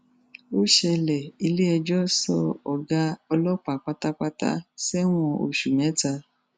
ó ṣẹlẹ iléẹjọ sọ ọgá ọlọpàá pátápátá sẹwọn oṣù mẹta